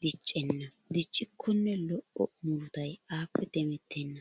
diccenna diccikkonne lo'o murutay aappe demettena.